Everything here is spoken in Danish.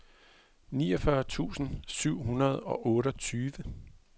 niogfyrre tusind syv hundrede og otteogtyve